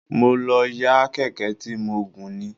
Mo lọ yá Kẹ̀kẹ́ tí mo gùn ni.